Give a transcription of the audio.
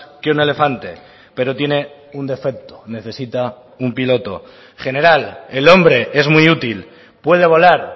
que un elefante pero tiene un defecto necesita un piloto general el hombre es muy útil puede volar